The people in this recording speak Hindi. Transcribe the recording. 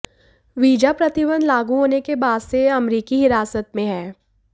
वीजा प्रतिबंध लागू होने के बाद से ये अमेरिकी हिरासत में हैं